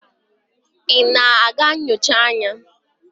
ị na-aga nyocha anya?